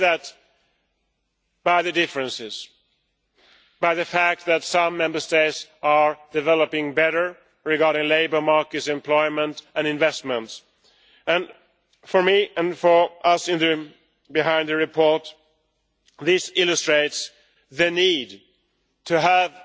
We see that through the differences, the fact that some Member States are developing better as regards labour markets, employment and investment. For me and for us behind the report, this illustrates the need to have